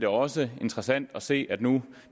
også interessant at se at man